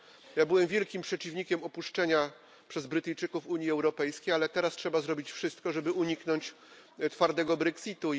Ja byłem wielkim przeciwnikiem opuszczenia przez Brytyjczyków Unii Europejskiej, ale teraz trzeba zrobić wszystko, żeby uniknąć twardego brexitu.